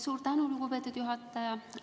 Suur tänu, lugupeetud juhataja!